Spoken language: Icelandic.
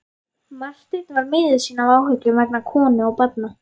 Marteinn var miður sín af áhyggjum vegna konu og barna.